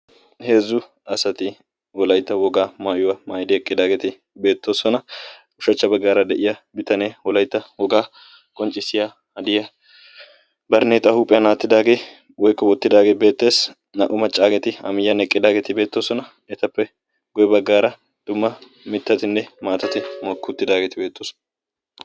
Heezzu asati Wolaytta wogaa maayuwa maayidi eqqidaageeti beettoosona. Ushachcha baggaara de'iya bitanee Wolaytta wogaa qonccissiya hadiya, baraneexaa huuphiyan aattidaagee/wottidaagee beettees. Naa"u maccaageeti A miyyiyan eqqqaageeti beettoosona. Etappe guyye baggaara dumma mittatinne maatati mokki uttidaageeti beettoosona.